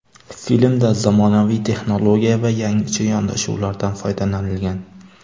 Filmda zamonaviy texnologiya va yangicha yondashuvlardan foydalanilgan.